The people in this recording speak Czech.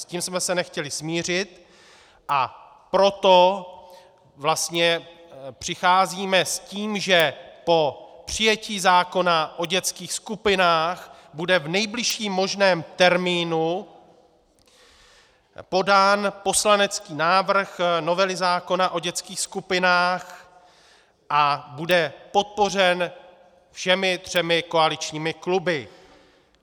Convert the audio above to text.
S tím jsme se nechtěli smířit, a proto vlastně přicházíme s tím, že po přijetí zákona o dětských skupinách bude v nejbližším možném termínu podán poslanecký návrh novely zákona o dětských skupinách a bude podpořen všemi třemi koaličními kluby.